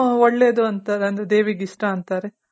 ಒಳ್ಳೇದು ಅಂತ ಅಂದ್ರೆ ದೇವಿಗೆ ಇಷ್ಟ ಅಂತಾರೆ.